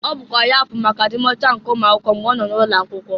Ọ bụkwa ya fụlụ maka adi m ọcha nke ụmụakwụkwe mgbe ọ nọ n'ụlọ akwụkwo.